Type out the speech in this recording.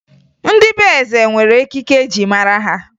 Ndị be eze nwere ekike e ji mara ha